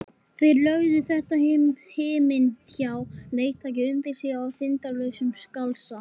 Þeir lögðu þetta himinháa leiktæki undir sig í þindarlausum galsa.